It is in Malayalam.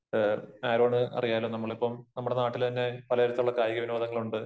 ആരോണ് അറിയാലോ നമ്മളിപ്പം നമ്മുടെ നാട്ടില് തന്നെ പല തരത്തിലുള്ള കായിക വിനോദങ്ങളുണ്ട്